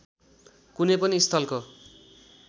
कुनै पनि स्थलको